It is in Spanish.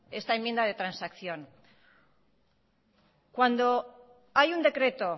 esta enmienda de transacción cuando hay un decreto